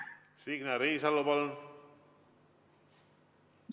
Signe Riisalo, palun!